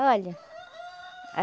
olha.